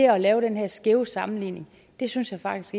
at lave den her skæve sammenligning synes jeg faktisk